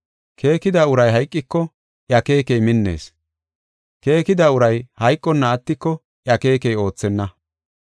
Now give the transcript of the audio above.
Keekida uray hayqiko iya keekey minnees. Keekida uray hayqonna attiko iya keekey oothenna.